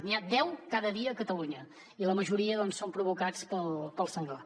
n’hi ha deu cada dia a catalunya i la majoria són provocats pel senglar